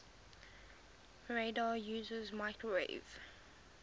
radar uses microwave